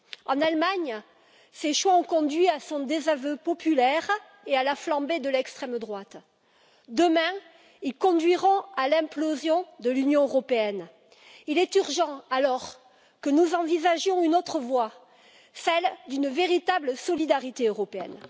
En Allemagne, ces choix ont conduit à son désaveu populaire et à la flambée de l'extrême droite. Demain, ils conduiront à l'implosion de l'Union européenne. Il est dès lors urgent que nous envisagions une autre voie, celle d'une véritable solidarité européenne.